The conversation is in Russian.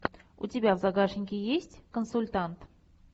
у тебя в загашнике есть консультант